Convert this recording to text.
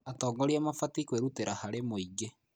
Atongoria mabatiĩ kwĩrutĩra harĩ mũingĩ.